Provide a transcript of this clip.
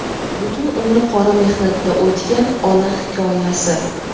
butun umri qora mehnatda o‘tgan ona hikoyasi.